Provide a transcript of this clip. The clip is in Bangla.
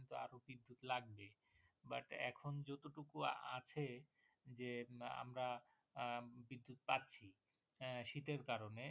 কুয়া আছে যে আমরা আহ বিদ্যুৎ পাচ্ছি আহ শীতের কারনে।